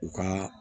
U ka